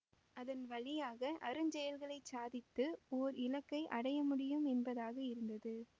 அதன் வழியாக அருஞ்செயல்களைச் சாதித்து ஓர் இலக்கை அடையமுடியும் என்பதாக இருந்தது